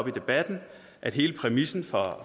i debatten at hele præmissen for